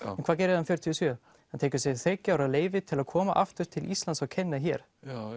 hvað gerir hann fjörutíu og sjö hann tekur sér þriggja ára leyfi til að koma aftur til Íslands og kenna hér